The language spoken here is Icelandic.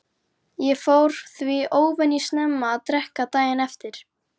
Ég fór því óvenju snemma að drekka daginn eftir.